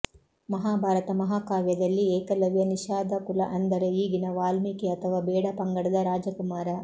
ಮಹಾಭಾರತ ಮಹಾಕಾವ್ಯದಲ್ಲಿ ಏಕಲವ್ಯ ನಿಷಾದ ಕುಲ ಅಂದರೆ ಈಗಿನ ವಾಲ್ಮೀಕಿ ಅಥವಾ ಬೇಡ ಪಂಗಡದ ರಾಜಕುಮಾರ